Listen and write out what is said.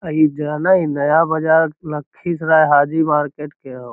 अ इ जाना ही नया बजार लखि हाजी मार्किट के हो |